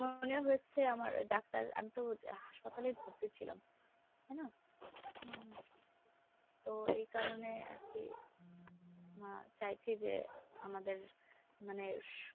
pneumonia হয়েছে আমার doctor আমি তো হাসপাতালেই ভর্তি ছিলাম তাইনা! উম তো এই কারণে আরকি আহ চাইছি যে আমাদের মানে